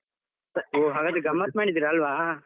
ಹೋ, ಹಾಗಾದ್ರೆ ಗಮ್ಮತ್ತು ಮಾಡಿದ್ದೀರಿ ಅಲ್ವಾ.